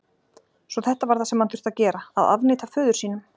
Svo þetta var það sem hann þurfti að gera: Að afneita föður sínum?